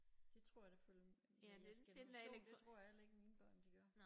Det tror jeg det følger med jeres generation det tror jeg heller ikke mine børn de gør